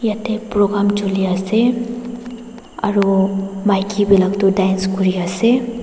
yete program chulia ase aro maiki dance kuri ase.